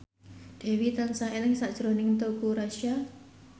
Dewi tansah eling sakjroning Teuku Rassya